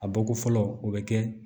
A bɔ ko fɔlɔ o bɛ kɛ